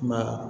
I m'a ye